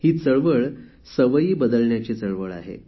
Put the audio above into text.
ही चळवळ सवयी बदलण्याची चळवळ आहे